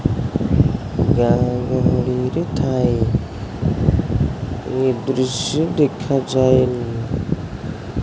ଗାଁ ଗହଳି ରେ ଥାଏ ୟେ ଦୃଶ୍ୟ ଦେଖାଯାଏନି।